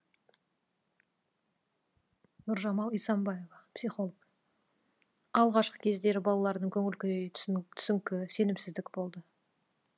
нұржамал исамбаева психолог алғашқы кездері балалардың көңіл күйі түсіңкі сенімсіздік болды